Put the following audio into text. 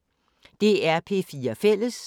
DR P4 Fælles